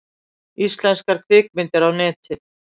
Íslenskar kvikmyndir á Netið